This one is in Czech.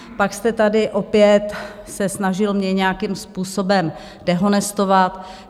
Pak jste tady opět se snažil mě nějakým způsobem dehonestovat.